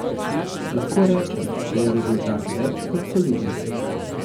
Lahko rečem, da je rezultat več kot soliden.